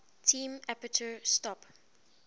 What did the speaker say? term aperture stop